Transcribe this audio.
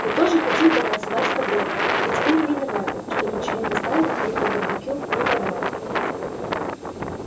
мы тоже хотим потанцевать с тобой ведь мы не виноваты что ничего не знали ни про барбекю ни про бал